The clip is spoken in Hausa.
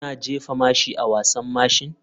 Kuna jefa mashi a wasan mashin?